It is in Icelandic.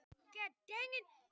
Allt rafmagn fór af álverinu